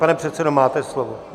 Pane předsedo, máte slovo.